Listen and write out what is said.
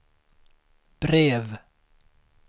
brev